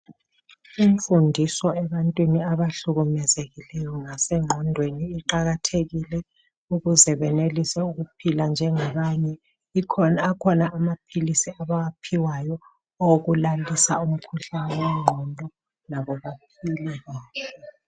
Imfundiso ebantwini abahlukumezekeleyo ngasengqondweni iqakathekile ukuze benelise ukuphila njengabanye. Akhona amaphilisi okulalisa umkhuhlane wengqondo.